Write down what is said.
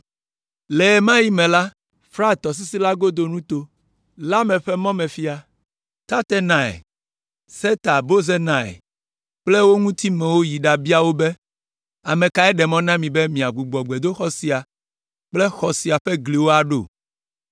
Le ɣe ma ɣi me la, Frat tɔsisi la godo nuto la me ƒe mɔmefia, Tatenai, Setar Bozenai kple wo ŋutimewo yi ɖabia wo be, “Ame kae ɖe mɔ na mi be miagbugbɔ gbedoxɔ sia kple xɔ sia ƒe gliwo aɖo?”